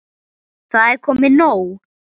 Það er komið nóg.